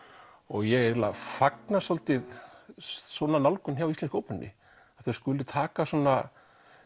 ég fagna svolítið svona nálgun hjá Íslensku óperunni að þau skuli taka svona